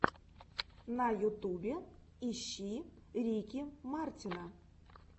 на ютубе ищи рики мартина